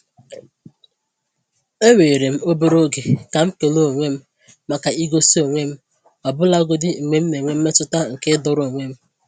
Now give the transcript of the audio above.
Eweere m obere oge ka m kele onwe m maka igosi onwe m ọbụlagodi mgbe m na-enwe mmetụta nke ịdọrọ onwe m.